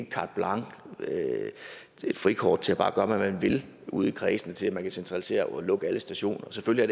carte blanche et frikort til bare at gøre hvad man vil ude i kredsene til at man kan centralisere og lukke alle stationer selvfølgelig